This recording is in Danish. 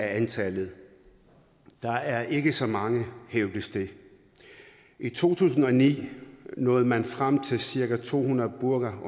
antallet der er ikke så mange hævdes det i to tusind og ni nåede man frem til at cirka to hundrede burka